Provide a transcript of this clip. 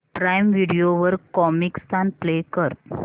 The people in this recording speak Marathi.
प्राईम व्हिडिओ वर कॉमिकस्तान प्ले कर